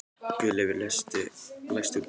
Guðleifur, læstu útidyrunum.